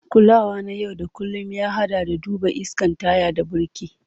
Kulawa na yau da kullun, ya haɗa da duba iskan taya da birki.